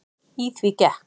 Í því gekk